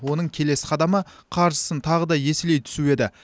оның келесі қадамы қаржысын тағы да еселей түсу еді